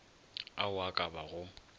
ao a ka ba go